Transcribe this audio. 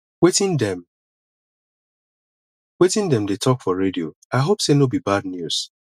wetin dem wetin dem dey talk for radio i hope sey no be bad news